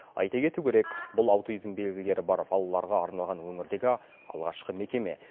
айта кету керек бұл аутизм белгілері бар балаларға арналған өңірдегі алғашқы мекеме